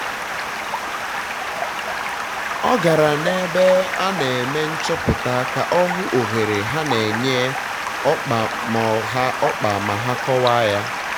ọ gara n'ebe a na-eme um nchọpụta ka um ọ hụ ohere ha na-enye ọkpa ma ha ọkpa ma ha kọwa ya